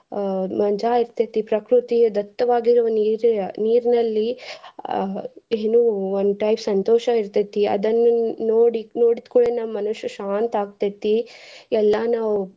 ಮಜಾ ಇರ್ತೇತಿ ಪ್ರಕೃತಿ ದತ್ತವಾಗಿರುವ ನೀರ~ ನೀರ್ನಲ್ಲಿ ಅಹ್ ಎನು one type ಸಂತೋಷ ಇರ್ತೇತಿ ಅದನ್ನ ನೋಡಿ~ ನೋಡಿದ್ಕೂಡ್ಲೇನ್ ಮನುಷ್ಯ ಶಾಂತ ಆಕ್ತೇತಿ ಎಲ್ಲಾ ನಾವ್.